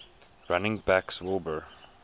running backs wilbur